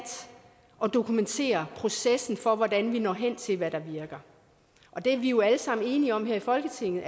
at dokumentere processen for hvordan vi når hen til hvad der virker og det er vi jo alle sammen enige om her i folketinget